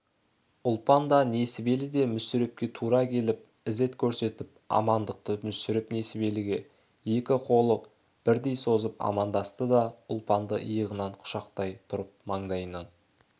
ұлпан да несібелі де мүсірепке тұра келіп ізет көрсетіп амандықты мүсіреп несібеліге екі қолық бірдей созып амандасты да ұлпанды иығынан құшақтай тұрып маңдайынан